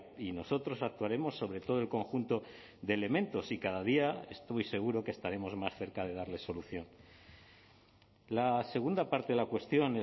y nosotros actuaremos sobre todo el conjunto de elementos y cada día estoy seguro que estaremos más cerca de darle solución la segunda parte de la cuestión